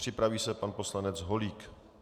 Připraví se pan poslanec Holík.